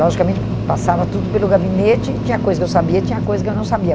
Logicamente, passava tudo pelo gabinete e tinha coisa que eu sabia e tinha coisa que eu não sabia.